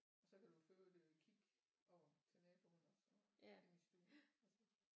Og så kan du for øvrigt kigge over til naboen også over inde i stuen